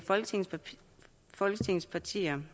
folketingets partier